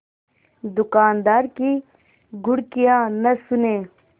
दुकानदार की घुड़कियाँ न सुने